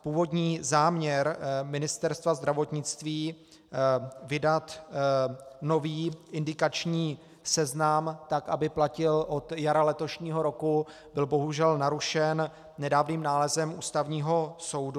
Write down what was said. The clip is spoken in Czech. Původní záměr Ministerstva zdravotnictví vydat nový indikační seznam tak, aby platil od jara letošního roku, byl bohužel narušen nedávným nálezem Ústavního soudu.